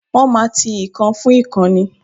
Wọ́n máa ti ìkan fún ìkan ni.